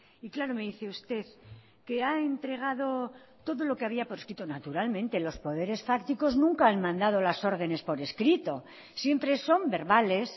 y claro me dice usted que ha entregado todo lo que había por escrito naturalmente los poderes fácticos nunca han mandado las órdenes por escrito siempre son verbales